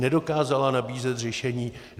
Nedokázala nabízet řešení.